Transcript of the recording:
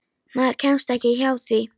Maður kemst ekki hjá því.